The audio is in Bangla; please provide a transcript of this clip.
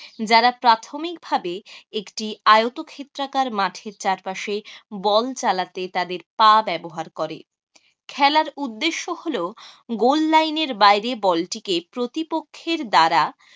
যারা প্রাথমিকভাবে একটি আয়তক্ষেত্রাকার মাঠের চারপাশে বল চালাতে তাদের পা ব্যবহার করে। খেলার উদ্দেশ্য হলো goal লাইনের বাইরে বলটিকে প্রতিপক্ষের দ্বারা